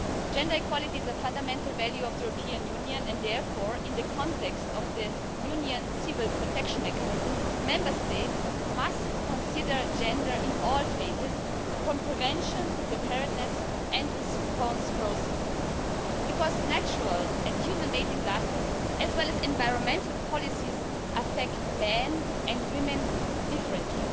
Gender equality is a fundamental value of the European Union and therefore, in the context of the Union's Civil Protection Mechanism, Member States must consider gender in all phases, from prevention to preparedness and response processes, because natural and human made disasters, as well as environmental policies, affect men and women differently.